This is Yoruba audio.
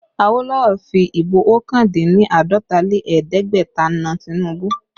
Awolowo fi Ìbò ọkàn dín ní àádọ́ta lé ẹ̀ẹ́dẹ́gbẹ̀ta na Tinubu